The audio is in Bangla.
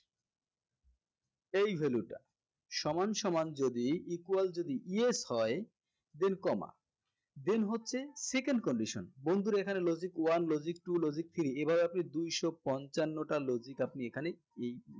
এই value টা সমানসমান যদি equal যদি yes হয় then comma then হচ্ছে second condition বন্ধুরা এখানে logic one logic two logic three এভাবে আপনি দুইশ পঞ্চান্নটা logic আপনি এখানে এই